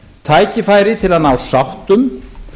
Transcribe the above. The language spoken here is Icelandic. tækifæri til að ná sáttum